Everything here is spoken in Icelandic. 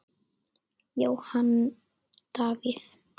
Jóhann Davíð.